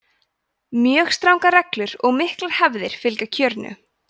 mjög strangar reglur og miklar hefðir fylgja kjörinu